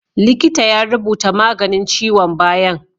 Likita ya rubuta maganin ciwon bayan